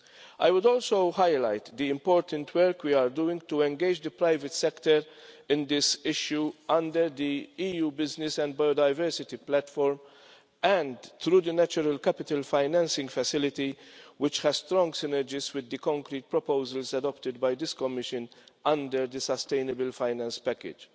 I would also highlight the important work we are doing to engage the private sector in this issue under the EU Business Biodiversity Platform and through the Natural Capital Financing Facility, which has strong synergies with the concrete proposals adopted by this Commission under the Sustainable Finance Package.